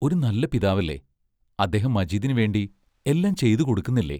ഒരു നല്ല പിതാവല്ലേ അദ്ദേഹം മജീദിനു വേണ്ടി എല്ലാം ചെയ്തു കൊടുക്കുന്നില്ലേ?